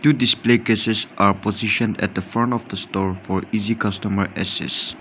Two display cases are positioned at the front of the store for easy customer access.